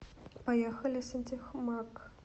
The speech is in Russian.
поехали сантехмаг